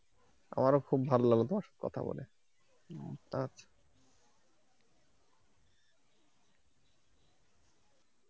আমারও খুব ভালো লাগলো তোমার সাথে কথা বলে আচ্ছা।